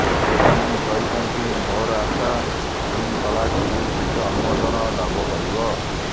ସେ ପୁଣି କହିଛନ୍ତି ମୋର ଆଶା ତିନ୍ ତଲାକ୍ ବିଲ୍ ଶୀଘ୍ର ଅନୁମୋଦନ ଲାଭ କରିବ